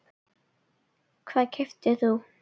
Hvað keyptir þú?